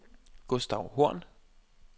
Gustav Horn